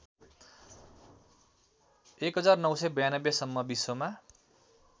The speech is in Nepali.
१९९२ सम्म विश्वमा